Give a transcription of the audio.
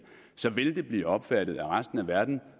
vil det blive opfattet af resten af verden